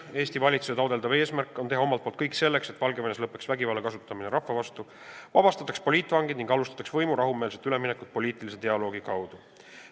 Eesti valitsuse taotletav eesmärk on teha omalt poolt kõik selleks, et Valgevenes lõpetataks vägivalla kasutamine rahva vastu, vabastataks poliitvangid ning alustataks võimu rahumeelset üleminekut poliitilise dialoogi kaudu.